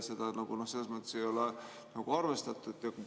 " Seda selles mõttes ei ole arvestatud.